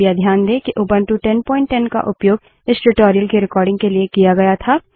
कृपया ध्यान दें कि उबंटु 1010 का उपयोग इस ट्यूटोरियल की रिकार्डिंग के लिए किया गया था